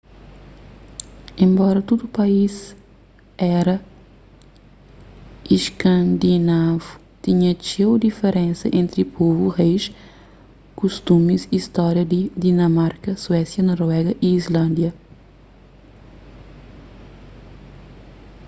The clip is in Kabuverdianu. enbora tudu país éra iskandinavu tinha txeu diferensa entri povu reis kustumis y stória di dinamarka suésia noruéga e islândia